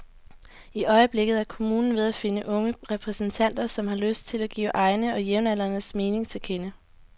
I øjeblikket er kommunen ved at finde unge repræsentanter, som har lyst til at give egne og jævnaldrendes mening til kende.